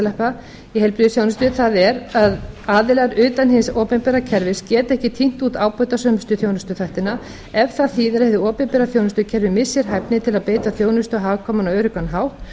rjómafleyting í heilbrigðisþjónustu það er að aðilar utan hins opinbera kerfis geti ekki tínt út ábatasömustu þjónustuþættina ef það þýðir að hið opinbera þjónustukerfi missi hæfni til að beita þjónustu á hagkvæman og öruggan hátt